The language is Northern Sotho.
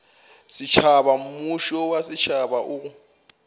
setšhaba mmušo wa setšhaba o